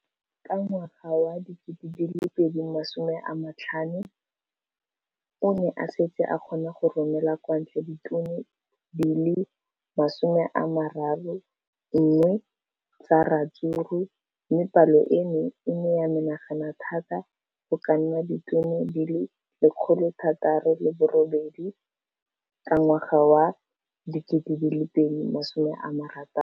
Ka ngwaga wa 2015, o ne a setse a kgona go romela kwa ntle ditone di le 31 tsa ratsuru mme palo eno e ne ya menagana thata go ka nna ditone di le 168 ka ngwaga wa 2016.